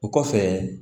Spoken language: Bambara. O kɔfɛ